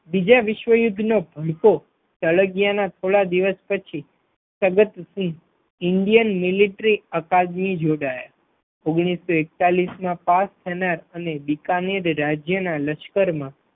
બીજા વિશ્વયુદ્ધનો ભડકો સળગિયા ના થોડા દિવસ પછી સદતસિંહ Indian Military Academy જોડાયા ઓગણીસો એકતાલીસમા પાસ થનાર અને બિકાનેર રાજ્યના લશ્કરમાં